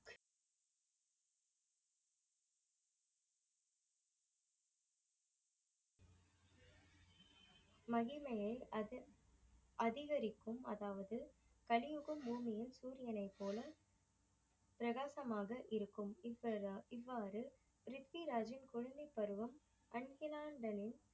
மகிமையை அது அதிகரிக்கும் அதாவது கலியுகம் பூமி சூரியனை போல பிரகாசமாக இருக்கும். இவ்வாற~இவ்வாறு ப்ரிதிவ்ராஜின் குழந்தை பருவம் அன்பில்லண்டனின்